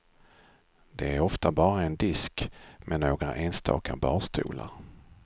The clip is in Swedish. De är ofta bara en disk med några enstaka barstolar.